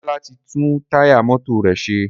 Demola tí tún Táyà mọ́tò rẹ ṣe.